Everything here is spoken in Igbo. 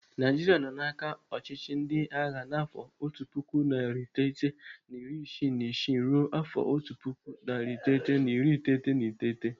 Naijiria nọ n'aka ọchịchị ndị agha n'afọ otu puku narị iteghete na iri isii na isii ruo afọ otu puku, narị iteghete na iri iteghete na iteghete.